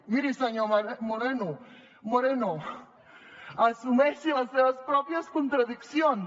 miri senyor moreno assumeixi les seves pròpies contradiccions